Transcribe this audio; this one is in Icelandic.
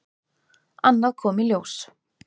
Annað kom í ljós.